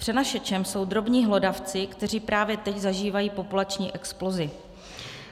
Přenašečem jsou drobní hlodavci, kteří právě teď zažívají populační explozi.